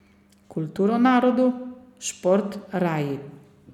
Kulturo narodu, šport raji.